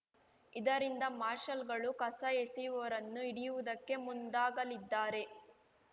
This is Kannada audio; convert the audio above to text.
ಇದರಿಂದ ಮಾರ್ಷಲ್‌ಗಳು ಕಸ ಎಸೆಯುವವರನ್ನು ಹಿಡಿಯುವುದಕ್ಕೆ ಮುಂದಾಗಲಿದ್ದಾರೆ